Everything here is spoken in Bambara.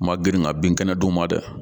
Ma grin ka bin kɛnɛ d'u ma dɛ